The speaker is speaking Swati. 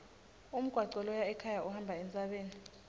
umgwaco loya ekhaya uhamba entsabeni